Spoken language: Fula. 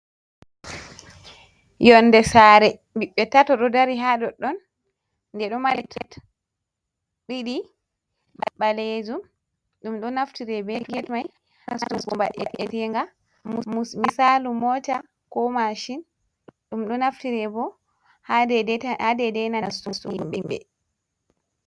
Yonnde saare ɓiɓɓe tato ɗo dari haa ɗoɗɗon nde ɗo mari tet ɗiɗi ɓaleejum. Ɗum ɗo naftiree bee get may. Ha mba'eteenga. Misaalu Mota koo Maacin, ɗum ɗo naftire bo haa deedey nastutuybebe.